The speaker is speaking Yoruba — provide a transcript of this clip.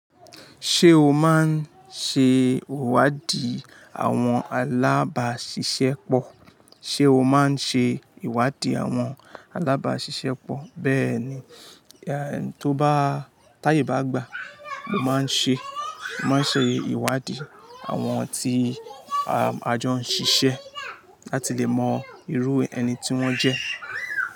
Ṣé o máa ń ṣe ìwádìí àwọn alábàáṣiṣẹ́ pọ? Ṣé o máa ń ṣe ìwádìí àwọn alábáàṣiṣẹ́ pọ? Bẹ́ẹ̀ ni, tó bá táyè bá gbà, mo máa ń ṣe, mo máa ń ṣe ìwádìí àwọn tí a jọ ń ṣiṣẹ́ láti lè mọ irú ẹni tí wọ́n jẹ́.